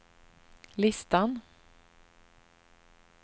listan